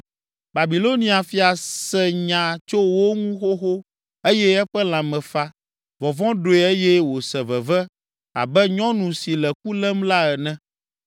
Babilonia fia se nya tso wo ŋu xoxo eye eƒe lãme fa. Vɔvɔ̃ ɖoe eye wòse veve abe nyɔnu si le ku lém la ene.